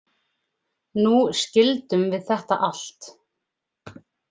Nú skildum við þetta allt.